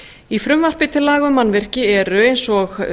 í frumvarpi til laga má mannvirki eru eins og